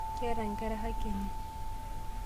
Keeta inkera haki enye .